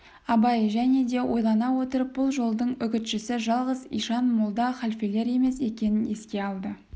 абай және де ойлана отырып бұл жолдың үгітшісі жалғыз ишан молда халфелер емес екенін еске алды